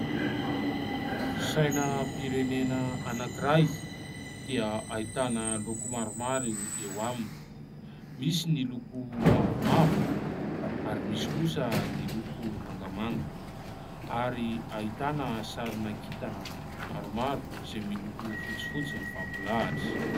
Sainam- pirenena anankiray dia ahitana loko maromaro eo aminy. Misy ny loko mavomavo, ary misy kosa ny loko mangamanga, ary ahitana sarina kitana maromaro izay miloko fotsifotsy mifampilahatra.